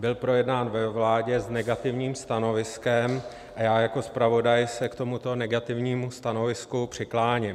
Byl projednán ve vládě s negativním stanoviskem a já jako zpravodaj se k tomuto negativnímu stanovisku přikláním.